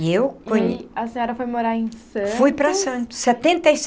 E eu conhe.. E a senhora foi morar em Santos? Fui para Santos, setenta e